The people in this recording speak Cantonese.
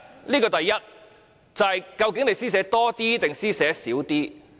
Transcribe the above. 這是第一：究竟你會施捨多一點還是少一點？